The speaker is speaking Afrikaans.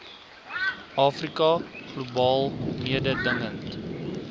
afrika globaal mededingend